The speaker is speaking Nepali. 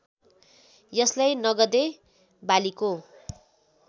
यसलाई नगदे बालीको